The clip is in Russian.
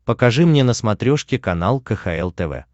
покажи мне на смотрешке канал кхл тв